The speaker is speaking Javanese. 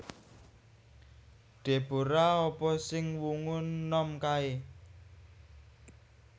Deborah apa sing wungu nom kae?